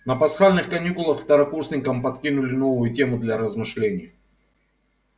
на пасхальных каникулах второкурсникам подкинули новую тему для размышлений